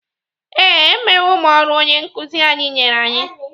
Ee, emewo m ọrụ onye nkụzi anyị nyere anyị.